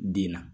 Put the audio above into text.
Den na